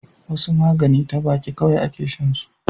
wasu magani ta baki kawai a ke shan su